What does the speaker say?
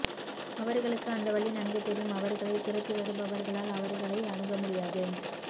அவர்களுக்கு அந்த வழி நன்கு தெரியும் அவர்களைத் துரத்திவருபவர்களால் அவர்களை அணுக முடியாது